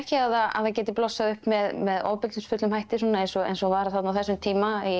að það geti blossað upp með ofbeldisfullum hætti svona eins og eins og var á þessum tíma